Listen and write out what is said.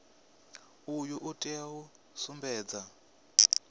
uyu u tea u sumbedza